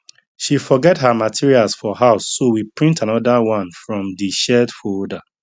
she forget her materials for house so we print another one from the shared folder